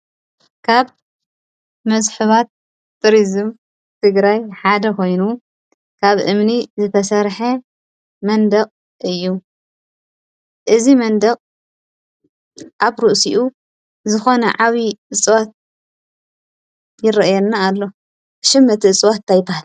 ካብ መስሕባት ቱሪዝም ትግራይ ሓደ ኮይኑ ካብ እምኒ ዝተሰሐ መንደቅ እዩ። እዚ መንደቅ ኣብ ርእሲኡ ዝኮነ ዓብዪ እፅዋት ይርእየና ኣሎ። ሽም እቲ እፅዋት ታይ ይበሃል ?